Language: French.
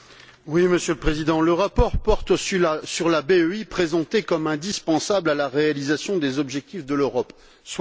Monsieur le Président, le rapport porte sur la BEI, présentée comme indispensable à la réalisation des objectifs de l'Europe, soit.